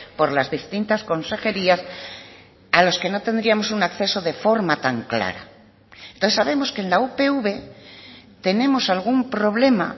por las distintas consejerías a los que no tendríamos un acceso de forma tan clara entonces sabemos que en la upv tenemos algún problema